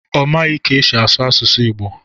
Ọ maghị ka esi asụ asụsụ Ịgbo